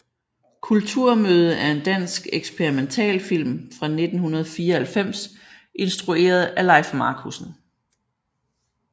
Kulturmøde er en dansk eksperimentalfilm fra 1994 instrueret af Lejf Marcussen